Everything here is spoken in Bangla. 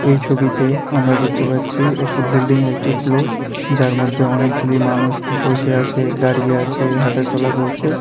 এই ছবিতে আমরা দেখতে পাচ্ছি একটি বিল্ডিংয়ের একটি ফ্লোর যার মধ্যে অনেকগুলি মানুষ বসে আছে দাঁড়িয়ে আছে হাঁটাচলা করছে।